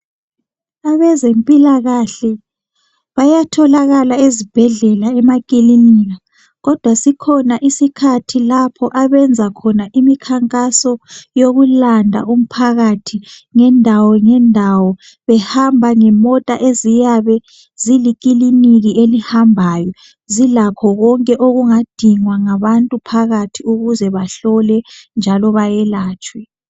Abezempilakahle bayatholakala ezibhedlela emakilinika kodwa sikhona isikhathi lapho abenza khona imikhankaso yokulanda umphakathi ngendawo ngendawo behamba ngemota eziyabe zilikiliniki elihambayo zilakho konke okungadingwa ngabantu phakathi ukuze bahlolwe njalo bayelatshwe.